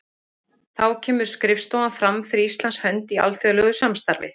Þá kemur skrifstofan fram fyrir Íslands hönd í alþjóðlegu samstarfi.